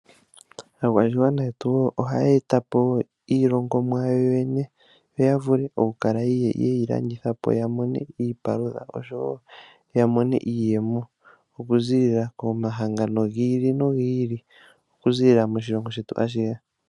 Aakwashigwana yetu ohaye eta po wo iilongomwa yawo yoyene, yo yavule okukala yeyi landitha po yamone iipalutha oshowo yamona iiyemo. Okuziilila komahangano gi ili nogi ili, okuziilila moshilongo shetu ashihe.